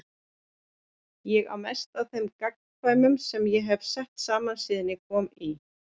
Ég á mest af þeim gamankvæðum sem ég hef sett saman síðan ég kom í